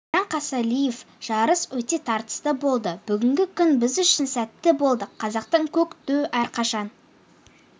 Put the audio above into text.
біржан қосалиев жарыс өте тартысты болды бүгінгі күн біз үшін сәтті болды қазақтың көк туы әрқашан